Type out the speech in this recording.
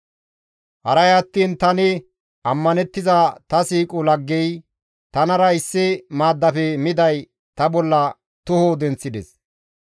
Haray attiin tani ammanettiza ta siiqo laggey, tanara issi maaddafe miday ta bolla toho denththides.